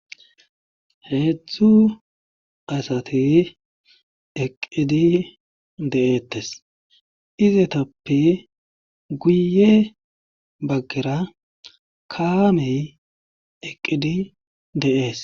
heedzdzu asati eqqidi de7eettes izetappe guye baggera kaamey eqqidi de7ees